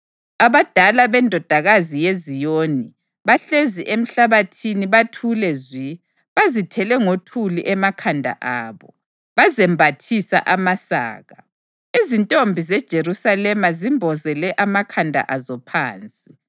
Abadala beNdodakazi yeZiyoni bahlezi emhlabathini bathule zwi; bazithele ngothuli emakhanda abo, bazembathisa amasaka. Izintombi zeJerusalema zimbozele amakhanda azo phansi.